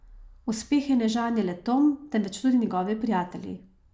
Uspehe ne žanje le Tom, temveč tudi njegovi prijatelji.